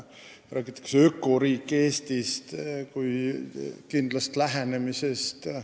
Räägitakse ökoriik Eestist kui kindlast lähenemisest.